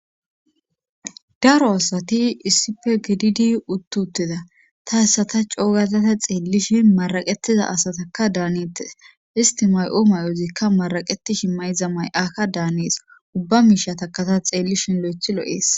daro asati issippe gididi uttutida ta hissata coogada ta xeellishin maraqettiza asatakka daanetes istimay'o may'ozikka maraqetishi mayza may'aka daanees ubba miishatakata xeellishin lo'ethi lo'ees